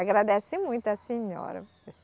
Agradece muito a senhora.